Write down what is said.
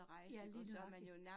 Ja, lige nøjagtig